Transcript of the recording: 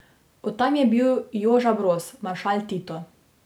Od tam je bil Joža Broz, maršal Tito.